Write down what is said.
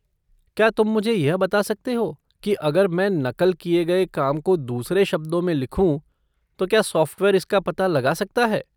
क्या तुम मुझे यह बता सकते हो कि अगर मैं नक़ल किए गए काम को दूसरे शब्दों में लिखूँ तो क्या सॉफ़्टवेयर इसका पता लगा सकता है?